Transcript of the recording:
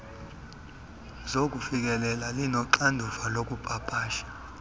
zokufikelela inoxanduva lokupapasha